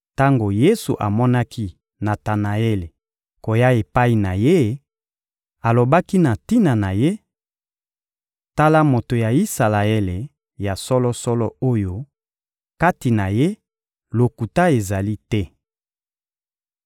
Tango Yesu amonaki Natanaele koya epai na Ye, alobaki na tina na ye: — Tala moto ya Isalaele ya solo-solo oyo, kati na ye, lokuta ezali te!